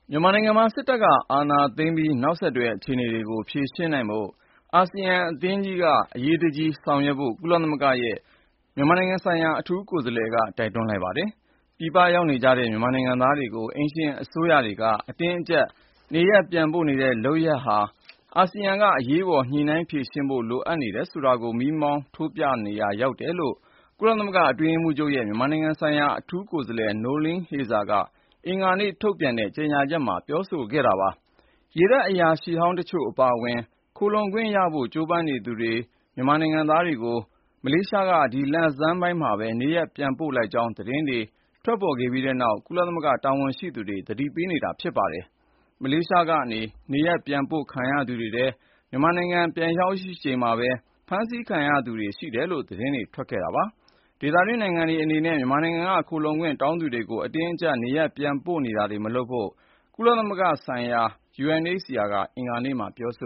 မြန်မာနိုင်ငံမှာ စစ်အာဏာသိမ်းပြီး နောက်ဆက်တွဲ အခြေအနေတွေကို ဖြေရှင်းနိုင်ဖို့ အရှေ့တောင်အာရှ နိုင်ငံများအသင်း (ASEAN) က အရေးတကြီး ဆောင်ရွက်ဖို့ ကုလသမဂ္ဂရဲ့ မြန်မာနိုင်ငံဆိုင်ရာ အထူးကိုယ်စားလှယ်က တိုက်တွန်းလိုက်ပါတယ်။ ပြည်ပရောက်နေတဲ့ မြန်မာနိုင်ငံသားတွေကို အိမ်ရှင်အစိုးရတွေက အတင်းအကျပ် နေရပ်ပြန်ပို့နေတဲ့ လုပ်ရပ်ဟာဆိုရင်လည်း အာဆီယံက အရေးပေါ် ညှိနှိုင်းဖြေရှင်းဖို့ လိုအပ်နေတယ်ဆိုတာကို မီးမောင်းထိုးပြရာ ရောက်နေတယ်လို့ ကုလသမဂ္ဂ အတွင်းရေးမှူးချုပ်ရဲ့ မြန်မာနိုင်ငံဆိုင်ရာ အထူးကိုယ်စားလှယ် Noeleen Heyzer က အင်္ဂါနေ့ ထုတ်ပြန်တဲ့ ကြေညာချက်မှာ ပြောဆိုခဲ့တာပါ။ ရေတပ် အရာရှိဟောင်းတချို့ အပါအဝင် ခိုလှုံခွင့်ရဖို့ ကြိုးပမ်းနေသူ မြန်မာနိုင်ငံသားတွေကို မလေးရှားက ဒီလဆန်းမှာပဲ နေရပ်ပြန်ပို့လိုက်ကြောင်း သတင်းတွေ ထွက်ပေါ်ခဲ့ပြီးနောက်မှာပဲ ကုလသမဂ္ဂ တာဝန်ရှိသူတွေ သတိပေးနေတာ ဖြစ်ပါတယ်။ မလေးရှားက နေရပ်ပြန်ပို့ခံရသူတွေထဲက မြန်မာနိုင်ငံ ပြန်ရောက်ချိန်မှာပဲ ဖမ်းဆီးခံခဲ့ရသူတွေ ရှိတယ်လို့လည်း သတင်းတွေ ထွက်ခဲ့တာပါ။ ဒေသတွင်းနိုင်ငံတွေ အနေနဲ့ မြန်မာနိုင်ငံက ခိုလှုံခွင့်တောင်းခံသူတွေကို အတင်းအကြပ် နေရပ်ပြန်ပို့တာတွေ မလုပ်ဖို့ ဒုက္ခသည်များဆိုင်ရာ ကုလသမဂ္ဂ မဟာမင်းကြီးရုံး (UNHCR) ကလည်း အင်္ဂါနေ့မှာပဲ ပြောဆ